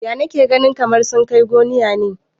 Ya nake ganin kamar sun kai gomiya ne?